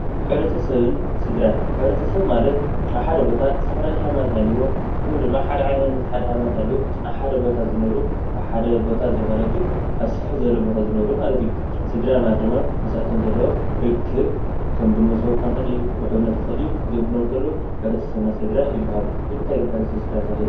ሕብረተሰብን ስድራን፡- ሕብረተሰብ ማለት ኣብ ሓደ ቦታ ዝተፋላለየ ሃይማኖት ሃልይዎም ወይ ድማ ሓደ ዓይነት ሃይማኖት ሃልይዎም ኣብ ሓደ ቦታ ዝነብሩ ኣብ ሓደ ቦታ ዘይኮነ ግን ኣብ ስፍሕ ዝበለ ቦታ ዝነብሩ ማለት እዩ፡፡ ስድራ ማለት ድማ ምስኣቶም ርክብ ከም ብመብስዎ ክኮን ይክእል እዩ፣ ብሕውነት ክኮን ይክእል እዩ እዚኦም ክነብሩ እንተለዉ ሕብረተሰብና ስድራ ይባሃሉ፡፡ ንምታይ ግን ሕብረተሰን ስድራን ተባሂሎም?